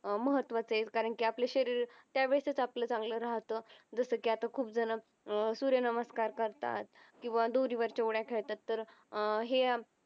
महत्वाचं आहे कारण की आपलं शरीर त्या वेळेसच आपलं चांगला राहत जस कि आता खूप जण अह सूर्यनमस्कार करतात किंवा दोरीवरच्या उड्या खेळतात तर हे अं